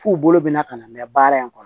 F'u bolo bɛna ka na mɛn baara in kɔnɔ